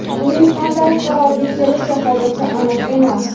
Uning qanday qarorga kelishi hozircha aniq emas.